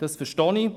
Das verstehe ich.